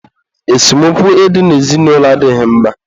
esemokwu ị dị n'ezinụlọ adịghị mma